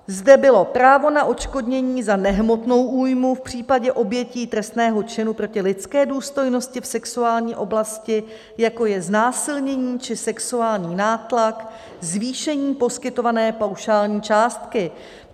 Zde bylo právo na odškodnění za nehmotnou újmu v případě obětí trestného činu proti lidské důstojnosti v sexuální oblasti, jako je znásilnění či sexuální nátlak, zvýšení poskytované paušální částky.